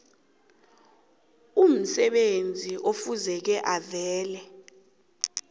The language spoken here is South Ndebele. umsebenzi ekufuze avale